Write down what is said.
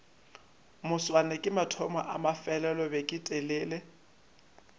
moswane ke mathomo a mafelelobeketelele